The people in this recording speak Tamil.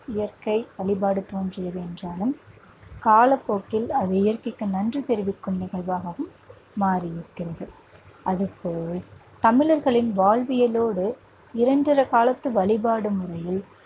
இயற்கை வழிபாடு தோன்றியது என்றாலும் காலப்போக்கில் அது இயற்கைக்கு நன்றி தெரிவிக்கும் நிகழ்வாகவும் மாறி நிற்கிறது அடுத்து தமிழர்களின் வாழ்வியலோடு காலத்து வழிபாடு முறையில்